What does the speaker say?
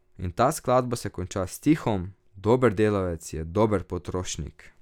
In ta skladba se konča s stihom: "Dober delavec je dober potrošnik.